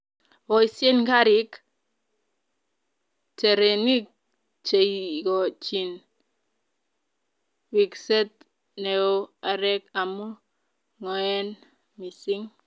boisien kariik/terenik cheigochin ripset neoo areek amu ng'oen missing.